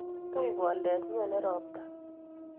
Tui boldet, nyonei ropta